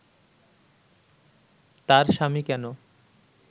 তার স্বামী কেন